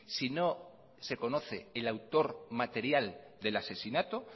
si no se conoce el autor material del asesinato